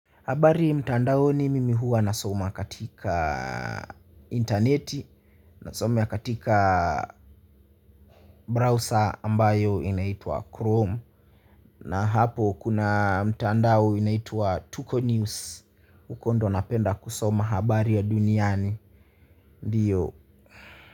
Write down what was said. Habari mtandao, mimi hua nasoma katika, interneti na soma katika, browser ambayo inaitwa Chrome. Na hapo kuna mtandao inaitwa Tuko News. Huko ndo napenda kusoma habari ya duniani. Ndiyo.